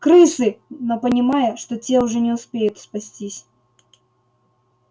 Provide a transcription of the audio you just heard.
крысы но понимая что те уже не успеют спастись